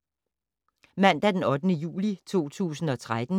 Mandag d. 8. juli 2013